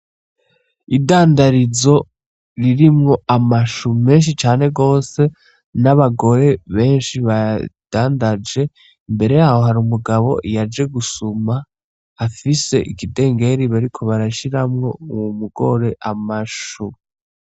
Idandarizo ririmwo amashu menshi cane gose n' abagore benshi bayadandaje imbere yaho hari umugabo yaje gusuma afise ikidengeri bariko barashiramwo uwo mugore amashu.